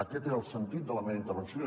aquest era el sentit de la meva intervenció